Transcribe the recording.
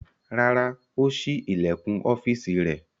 Rárá, ó ṣí ilẹ̀kùn ọ́fíísì rẹ̀.